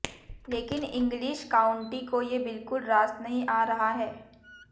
लेकिन English county को ये बिल्कुल रास नही आ रहा है